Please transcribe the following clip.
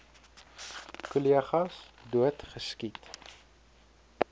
kollegas dood geskiet